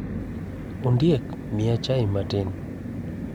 Ondiek, miya chai matin.